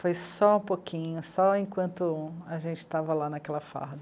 Foi só um pouquinho, só enquanto a gente estava lá naquela farra.